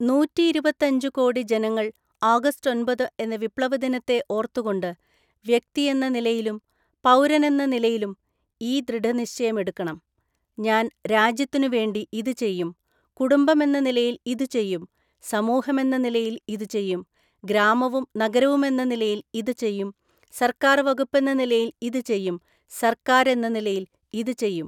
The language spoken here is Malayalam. നൂറ്റിയിരുപത്തിയഞ്ചു കോടി ജനങ്ങള്‍ ആഗസ്റ്റ് ഒന്‍പത് എന്ന വിപ്ലവദിനത്തെ ഓര്‍ത്തുകൊണ്ട് വ്യക്തിയെന്ന നിലയിലും പൗരനെന്ന നിലയിലും ഈ ദൃഢനിശ്ചയമെടുക്കണം. ഞാന്‍ രാജ്യത്തിനുവേണ്ടി, ഇതു ചെയ്യും, കുടുംബമെന്ന നിലയില്‍ ഇതു ചെയ്യും, സമൂഹമെന്ന നിലയില്‍ ഇതു ചെയ്യും, ഗ്രാമവും നഗരവുമെന്ന നിലയില്‍ ഇതു ചെയ്യും, സര്‍ക്കാര്‍ വകുപ്പെന്ന നിലയില്‍ ഇതു ചെയ്യും, സര്‍ക്കാരെന്ന നിലയില്‍ ഇതു ചെയ്യും.